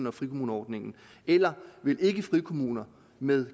af frikommuneordningen eller vil ikkefrikommuner med